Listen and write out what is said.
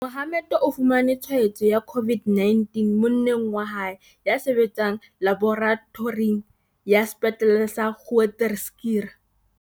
Mohammed o fumane tshwaetso ya COVID-19 mo-nneng wa hae, ya sebetsang laboratoring ya Sepetlele sa Groote Schuur.